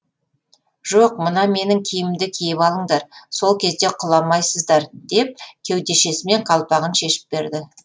жоқ мына менің киімімді киіп алыңдар сол кезде құламайсыздар деп кеудешесімен қалпағын шешіп берді